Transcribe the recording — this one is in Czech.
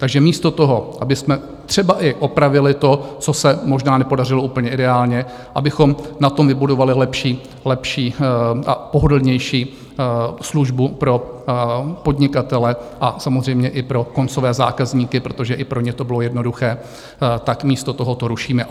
Takže místo toho, abychom třeba i opravili to, co se možná nepodařilo úplně ideálně, abychom na tom vybudovali lepší a pohodlnější službu pro podnikatele a samozřejmě i pro koncové zákazníky, protože i pro ně to bylo jednoduché, tak místo toho to rušíme.